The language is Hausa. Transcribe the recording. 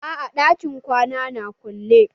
A'a ɗakin kwanan na kulle.